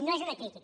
no és una crítica